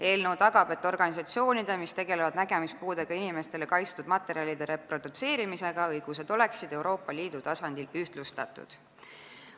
Eelnõu tagab, et nägemispuudega inimestele kaitstud materjalide reprodutseerimisega tegelevate organisatsioonide õigused oleksid Euroopa Liidu tasandil ühtlustatud.